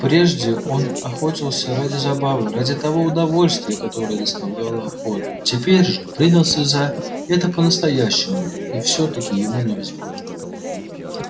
прежде он охотился ради забавы ради того удовольствия которое доставляла охота теперь же принялся за это по настоящему и всё таки ему не везло